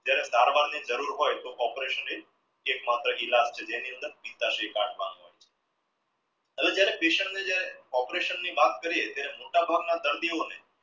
જ્યારે ની જરૂર હોય તો operation એક માત્ર ઈલાજ છે જેની અંદર અને જ્યારે patient ને જ્યારે operation ની વાત કરે ત્યારે મોટાભાગના દર્દીઓને